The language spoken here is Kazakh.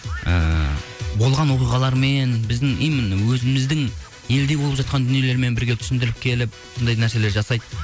ыыы болған оқиғалармен біздің именно өзіміздің елде болып жатқан дүниелермен бірге түсіндіріп келіп сондай нәрселер жасайды